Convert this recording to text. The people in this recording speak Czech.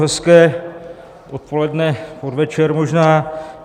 Hezké odpoledne, podvečer možná.